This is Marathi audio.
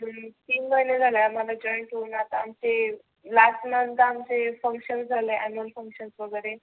तीन महिने झाले आम्हाला join होऊन. आता आमचे last month आमचे function झाले annual function वगैरे.